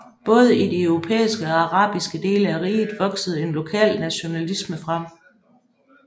Både i de europæiske og arabiske dele af riget voksede en lokal nationalisme frem